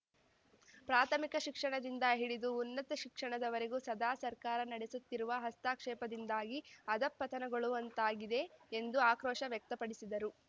ಪ್ರಾಥಮಿಕ ಶಿಕ್ಷಣದಿಂದ ಹಿಡಿದು ಉನ್ನತ ಶಿಕ್ಷಣದವರೆಗೂ ಸದಾ ಸರ್ಕಾರ ನಡೆಸುತ್ತಿರುವ ಹಸ್ತಕ್ಷೇಪದಿಂದಾಗಿ ಅಧಃಪತನಗೊಳ್ಳುವಂತಾಗಿದೆ ಎಂದು ಆಕ್ರೋಶ ವ್ಯಕ್ತಪಡಿಸಿದರು